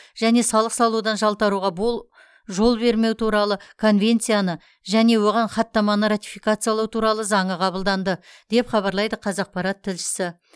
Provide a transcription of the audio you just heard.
және салық салудан жалтаруға бұл жол бермеу туралы конвенцияны және оған хаттаманы ратификациялау туралы заңы қабылданды деп хабарлайды қазақпарат тілшісі